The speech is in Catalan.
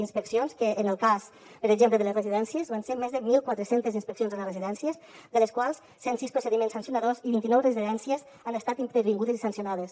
inspeccions que en el cas per exemple de les residències van ser més de mil quatre cents inspeccions a les residències de les quals cent sis procediments sancionadors i vint i nou residències han estat intervingudes i sancionades